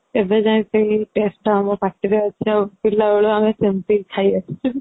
ଏବେ ଯାଙ୍କେ ଏଇ taste ତତା ଆମ ପାଟିରେ ଅଛି ଆଉ ପିଲା ବେଳୁ ଆମେ ସେମିତି ଖାଇ ଆସିଛୁ